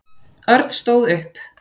Örn stóð upp.